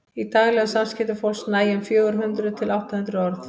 í daglegum samskiptum fólks nægja um fjögur hundruð til átta hundruð orð